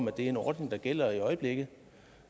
er en ordning der gælder i øjeblikket